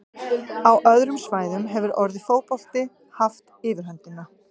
Á öðrum svæðum hefur orðið fótbolti haft yfirhöndina.